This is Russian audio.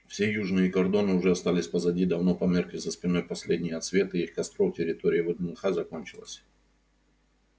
все южные кордоны уже остались позади давно померкли за спиной последние отсветы их костров территория вднх закончилась